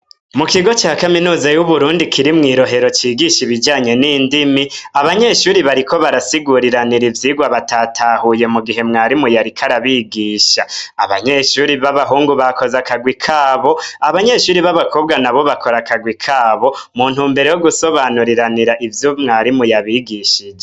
Mu kigo ca kaminuza y’uburundi kiri mwi Rohero cigisha ibijanye n'indimi, abanyeshure bariko barasiguriranira ivyirwa batatahuye mugihe mwarimu yariko arabigisha. Abanyeshure baba hungu bakoze akarwi kabo , abanyeshure babakobwa nabo bakoze akagwi kabo muntumbero yo gusobanuriranira ivyo mwarimu yabigishije.